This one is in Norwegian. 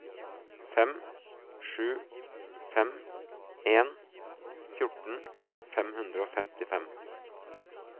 fem sju fem en fjorten fem hundre og femtifem